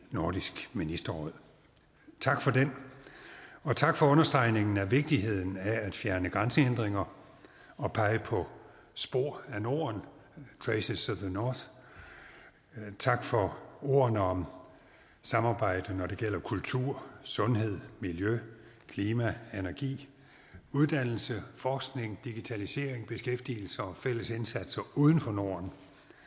nordisk ministerråd tak for den og tak for understregningen af vigtigheden af at fjerne grænsehindringer og pege på spor af norden traces of the north tak for ordene om samarbejde når det gælder kultur sundhed miljø klima energi uddannelse forskning digitalisering beskæftigelse og fælles indsatser uden for norden